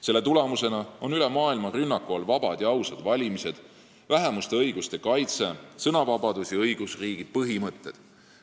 Selle tulemusena on üle maailma rünnaku all vabad ja ausad valimised, vähemuste õiguste kaitse, sõnavabadus ja õigusriigi põhimõtted.